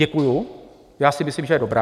Děkuji, já si myslím, že je dobrá.